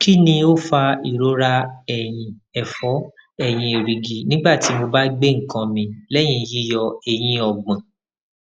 kini o fa irora ẹyin ẹfọ eyin ẹrigi nigbati mo ba gbe nkan mi lẹyin yiyọ eyin ogbon